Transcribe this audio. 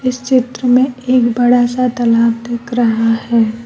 इस चित्र में एक बड़ा सा तालाब दिख रहा है।